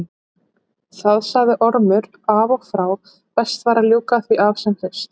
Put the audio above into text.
Það sagði Ormur af og frá, best væri að ljúka því af sem fyrst.